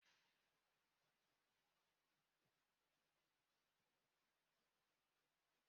Otú uru dị n'isi noodules bụ na ọ na ehe osisio